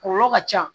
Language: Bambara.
Kɔlɔlɔ ka ca